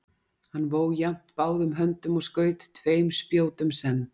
hann vó jafnt báðum höndum og skaut tveim spjótum senn